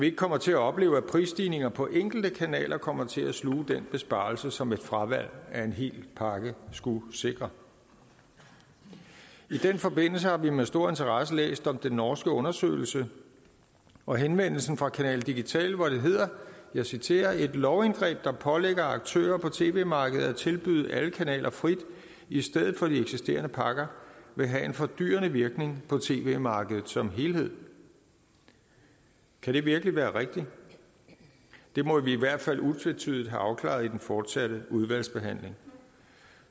ikke kommer til at opleve at prisstigninger på enkelte kanaler kommer til at sluge den besparelse som et fravalg af en hel pakke skulle sikre i den forbindelse har vi med stor interesse læst om den norske undersøgelse og henvendelsen fra canal digital hvor det hedder og jeg citerer et lovindgreb der pålægger aktører på tv markedet at tilbyde alle kanaler frit i stedet for de eksisterende pakker vil have en fordyrende virkning på tv markedet som helhed kan det virkelig være rigtigt det må vi i hvert fald utvetydigt have afklaret i den fortsatte udvalgsbehandling